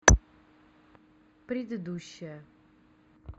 предыдущая